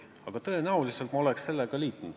Aga tõenäoliselt ma oleks selle ettepanekuga liitunud.